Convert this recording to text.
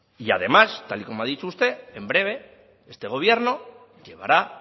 además tal y como ha dicho usted en breve este gobierno llevará